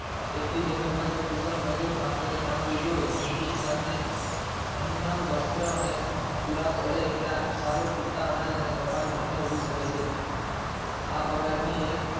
તેટલી જમીન માં જો કુશળ મજુર મારફતે કામ લીધું હોય તો હિન્દુસ્તન ને અન્ન વર્સ્ત્ર અને પુરા પડે એટલા સારું પૂરતા અનાજ અને કપાસ બને ઉગી શકે છે આ બગાડ ની એક